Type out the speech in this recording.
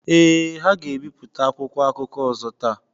Ee, ha ga-ebipụta akwụkwọ akụkọ ọzọ taa.